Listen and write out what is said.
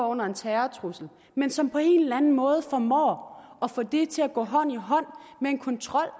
under en terrortrussel men som på en eller anden måde formår at få det til at gå hånd i hånd med en kontrol